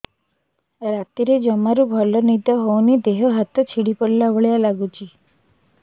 ରାତିରେ ଜମାରୁ ଭଲ ନିଦ ହଉନି ଦେହ ହାତ ଛିଡି ପଡିଲା ଭଳିଆ ଲାଗୁଚି